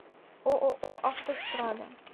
ооо автострада